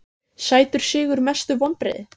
sætur sigur Mestu vonbrigði?